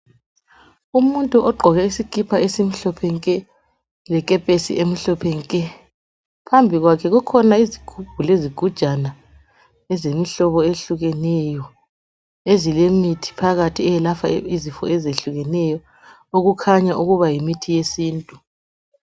umuntu ogqoke isikipa esimhlophe nke lekepesi emhlophe nke phambikwakhe kukhona izigubhu lezigujana ezemihlobo ehlukeneyo ezilemithi phakathi eyelapha izifo ezehlukeneyo okukhanya ukuba ngu yimithi ye sintu